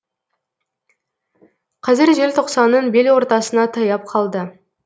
қазір желтоқсанның бел ортасына таяп қалды